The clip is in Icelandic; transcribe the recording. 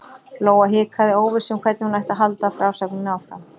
Lóa hikaði, óviss um hvernig hún ætti að halda frásögninni áfram.